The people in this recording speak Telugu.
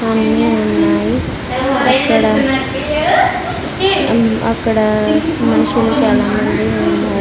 అన్నీ ఉన్నాయి అక్కడ అం అక్కడ మనుషులు చాలా మంది ఉన్నా --